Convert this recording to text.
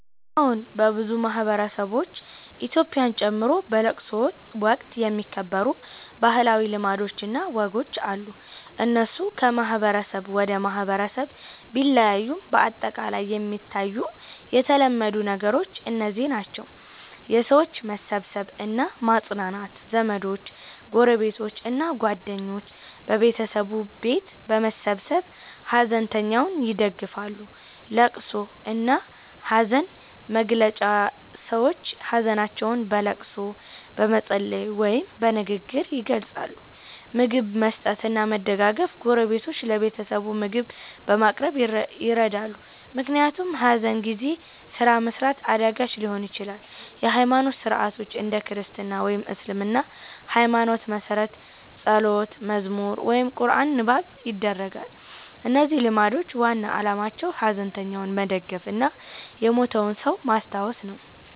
አዎን፣ በብዙ ማህበረሰቦች (ኢትዮጵያን ጨምሮ) በለቅሶ ወቅት የሚከበሩ ባህላዊ ልማዶች እና ወጎች አሉ። እነሱ ከማህበረሰብ ወደ ማህበረሰብ ቢለያዩም በአጠቃላይ የሚታዩ የተለመዱ ነገሮች እነዚህ ናቸው፦ የሰዎች መሰብሰብ እና ማጽናናት ዘመዶች፣ ጎረቤቶች እና ጓደኞች በቤተሰቡ ቤት በመሰብሰብ ሐዘንተኛውን ይደግፋሉ። ልቅሶ እና ሐዘን መግለጫ ሰዎች ሀዘናቸውን በልቅሶ፣ በመጸለይ ወይም በንግግር ይገልጻሉ። ምግብ መስጠት እና መደገፍ ጎረቤቶች ለቤተሰቡ ምግብ በማቅረብ ይረዳሉ፣ ምክንያቱም ሐዘን ጊዜ ስራ መስራት አዳጋች ሊሆን ይችላል። የሃይማኖት ሥርዓቶች እንደ ክርስትና ወይም እስልምና ሃይማኖት መሠረት ጸሎት፣ መዝሙር ወይም ቁርአን ንባብ ይደረጋል። እነዚህ ልማዶች ዋና ዓላማቸው ሐዘንተኛውን መደገፍ እና የሞተውን ሰው ማስታወስ ነው።